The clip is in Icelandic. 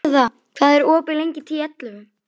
Agða, hvað er opið lengi í Tíu ellefu?